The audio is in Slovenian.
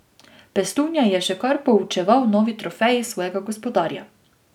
Pestunja je še kar poučeval novi trofeji svojega gospodarja.